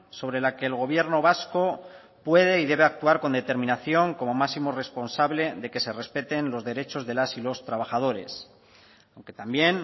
sobre la que el gobierno vasco puede y debe actuar con determinación como máximo responsable de que se respeten los derechos de las y los trabajadores aunque también